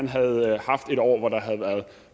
havde været